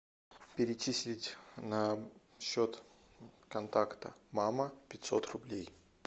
перечислить на счет контакта мама пятьсот рублей